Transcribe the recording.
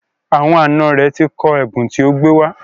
Àwọn àna rẹ̀ ti kọ ẹ̀bùn tó gbé wá.